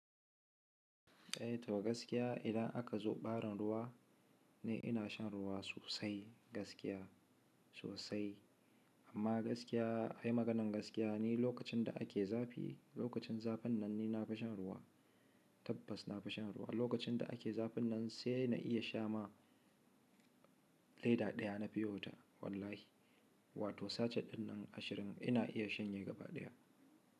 Eh to gaskiya idan aka zo ɓarin ruwa ni ina shan ruwa sosai gaskiya sosai amma gaskiya ai maganan gaskiya ni lokacin da ake zafi lokacin zafin nan ni na fi shan ruwa tabbas na fi shan ruwa lokacin da ake zafin nan sai na iya sha ma leda ɗaya na piyo wata wallahi wato sachet ɗin nan ashirin ina iya shanye gaba ɗaya.